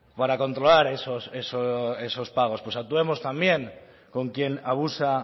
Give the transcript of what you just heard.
para controlar esos pagos pues actuemos también con quien abusa